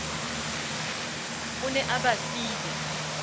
o ne a ba file